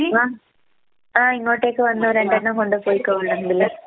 ആഹ് ആഹ് ഇങ്ങോട്ടേക്ക് വന്നോ രണ്ടെണ്ണം കൊണ്ടുപോയ്‌ക്കോ വേണെങ്കില്.